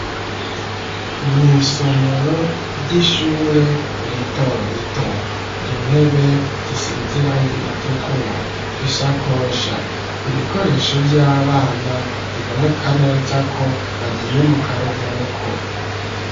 Mw'isomero ry'ishure rito rito, intebe zisize irangi ritukura; isakosha, ibikoresho vy'abana, biboneka neza ko, bagiye mu karuhuko.